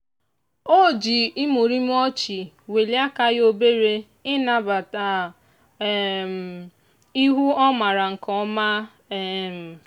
o ji imurimu ọchị welie aka ya obere ịnabata um ihu ọ maara nke ọma. um